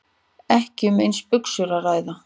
Ekki um eins buxur að ræða